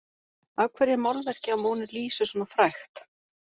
Af hverju er málverkið af Mónu Lísu svona frægt?